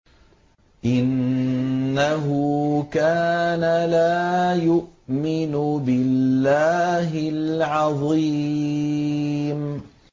إِنَّهُ كَانَ لَا يُؤْمِنُ بِاللَّهِ الْعَظِيمِ